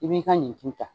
I b'i ka nin tu ta